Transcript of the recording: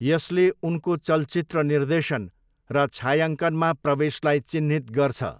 यसले उनको चलचित्र निर्देशन र छायाङ्कनमा प्रवेशलाई चिह्नित गर्छ।